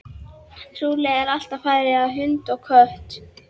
Trúlegt að allt fari í hund og kött.